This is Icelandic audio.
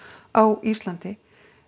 á Íslandi